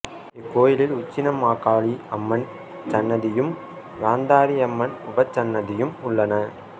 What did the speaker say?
இக்கோயிலில் உச்சினிமாகாளி அம்மன் சன்னதியும் காந்தாரி அம்மன் உபசன்னதியும் உள்ளன